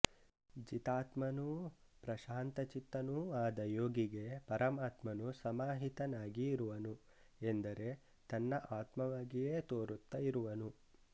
ಜಿತಾತ್ಮನೂ ಪ್ರಶಾಂತಚಿತ್ತನೂ ಆದ ಯೋಗಿಗೆ ಪರಮಾತ್ಮನು ಸಮಾಹಿತನಾಗಿ ಇರುವನು ಎಂದರೆ ತನ್ನ ಆತ್ಮವಾಗಿಯೇ ತೋರುತ್ತ ಇರುವನು